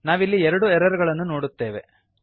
ನಾವಿಲ್ಲಿ ಎರಡು ಎರರ್ ಗಳನ್ನು ನೋಡುತ್ತೇವೆ